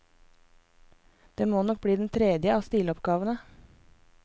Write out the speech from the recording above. Det må nok bli den tredje av stiloppgavene.